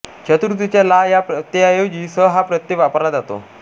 चतुर्थीच्या ला या प्रत्यया ऐवजी स हाच प्रत्यय वापरला जातो